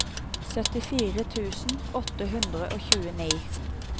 syttifire tusen åtte hundre og tjueni